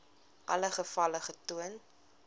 alle gevalle getoon